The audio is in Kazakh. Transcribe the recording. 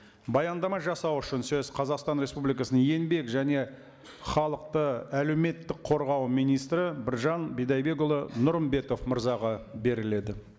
баяндама жасау үшін сөз қазақстан республикасының еңбек және халықты әлеуметтік қорғау министрі біржан бидайбекұлы нұрымбетов мырзаға беріледі